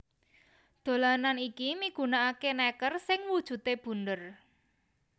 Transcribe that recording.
Dolanan iki migunakaké nèker sing wujudé bunder